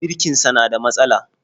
Birkinsa na da matsala